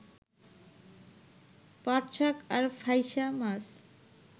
পাটশাক আর ফাইসা মাছ